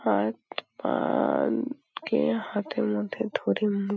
হাত পান-ন-ন কে হাতের মধ্যে ধরে মু --